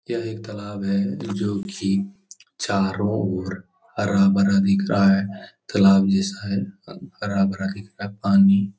यह एक तलाब है जो कि चारों ओर हरा-भरा दिख रहा है। तालाब जैसा है ह हरा-भरा दिख रहा है। पानी --